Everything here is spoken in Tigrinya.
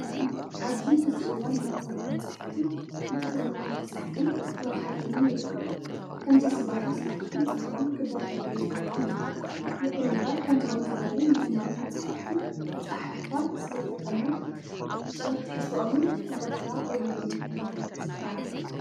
ኣብዚ ሕዚ እዋን ናይ ፀሎት መፅሓፍቲ ብትግር ኛ እናተፅሓፉን እናተሃተሙን ይርከቡ። ከምዚ ዝበሉ ስራሕቲ ፅቡቅን ክበራትዑ ዝግብኦም እዩ። ይኹን እምበር ከምዚኦም ዝበሉ ናይ ሃይማኖት መፃህፍቲ ኣፅሓሕፋ ስልተጠምን ፅሬት ትሕዝትኦምን ዳርጋ የብሎምን ክብሃል ዝከኣል እዩ።